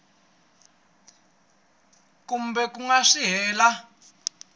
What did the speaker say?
kambe ku nga si hela